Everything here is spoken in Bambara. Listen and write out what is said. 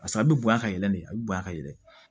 Barisa a bɛ bonya ka yɛlɛ de a bɛ bonya ka yɛlɛ